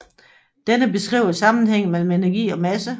Denne beskriver sammenhægngen mellem energi og masse